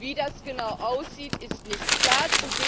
Wie das genau aussieht, ist nicht klar.